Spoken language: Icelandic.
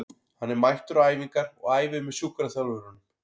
Hann er mættur á æfingar og æfir með sjúkraþjálfurunum.